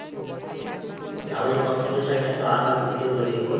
আবার যে কষ্ট করে ছাই একটু আবার দিতে হলো দিয়ে গোল।